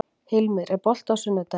Hilmir, er bolti á sunnudaginn?